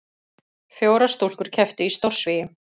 Fjórar stúlkur kepptu í stórsvigi